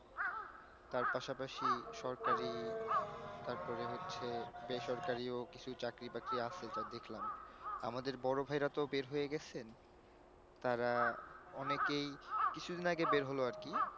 তার পাশাপাশি সরকারি তারপরে হচ্ছে বেসরকারিও কিছু চাকরি বাকরি আছে যা দেকলাম আমাদের বড়ভাই রা তহ বের হয়ে গেছেন তারা অনেকেই কিছুদিন আগে বের হল আরকি